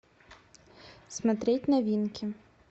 смотреть новинки